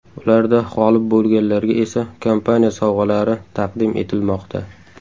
Ularda g‘olib bo‘lganlarga esa kompaniya sovg‘alari taqdim etilmoqda.